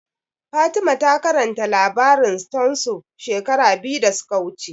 Fatima ta karanta labarin stone soup shekara biyu da suka wuce